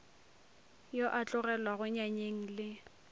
yo a tlogelwago nyanyeng le